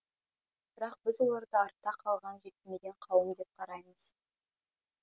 бірақ біз оларды артта қалған жетілмеген қауым деп қараймыз